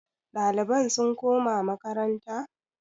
ɗaliban sun koma makaranta?